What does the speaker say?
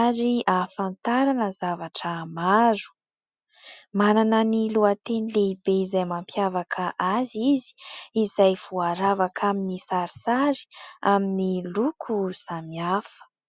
ary ahafantarana zavatra maro. Manana ny lohateny lehibe izay mampiavaka azy izy izay voaravaka amin'ny sarisary amin'ny loko samihafa.